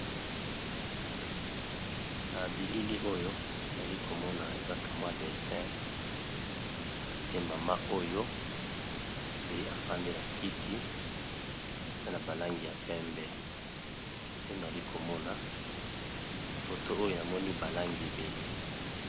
Na bilili oyo nali komona eza ka mwa dessin a tie mama oyo pe a fandi na kiti aza na ba langi ya pembe pe nali ko mona na photo oyo na moni ba langi ébélé.